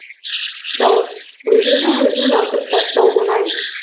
дауыс өзіңді өзің атып тастау оңай